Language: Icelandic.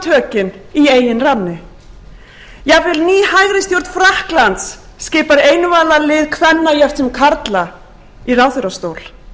í eigin ranni jafnvel ný hægri stjórn frakklands skipar einvala lið kvenna jafnt sem karla í ráðherrastóla